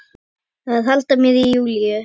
Að halda mér í Júlíu.